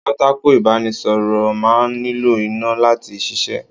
Pátákó ibanisoro máa ń nílò iná láti ṣíṣe.